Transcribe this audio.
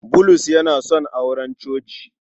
Bulus yana son auren coci.